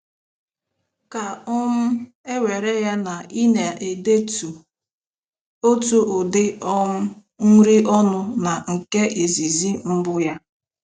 Ka um e were ya na ị na-edetụ otu ụdị um nri ọnụ na nke izizi mbụ ya.